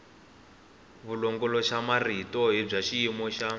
vulongoloxamarito i bya xiyimo xa